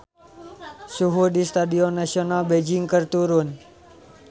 Suhu di Stadion Nasional Beijing keur turun